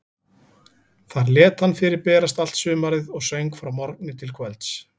Þar lét hann fyrir berast allt sumarið og söng frá morgni til kvölds.